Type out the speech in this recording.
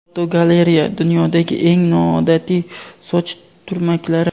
Fotogalereya: Dunyodagi eng noodatiy soch turmaklari.